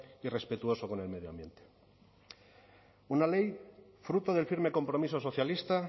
y respetuoso con el medio ambiente una ley fruto del firme compromiso socialista